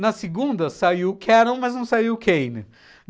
Na segunda saiu o Cannon, mas não saiu o Kane.